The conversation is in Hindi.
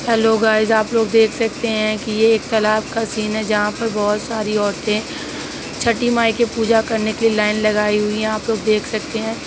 हेलो गाइस आप लोग देख सकते है। ये एक तालाब का सीन है। जहाँ पे बहुत सारी औरते छठी माई के पूजा करने की लाइन लगाई हुई है। आप लोग देख सकते हैं।